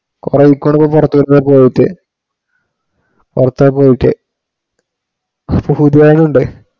കുറെ കുറച്ചു ദിവസമായി പോയിട്ട്. പുറത്തായി പോയിട്ട്. ഇപ്പൊ പുതിയാളും ഉണ്ട്